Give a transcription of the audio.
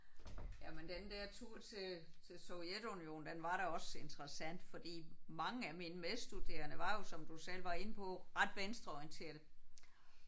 Jamen den der tur til til Sovjetunionen den var da også interessant fordi mange af mine medstuderende var jo som du selv var inde på ret venstreorienterede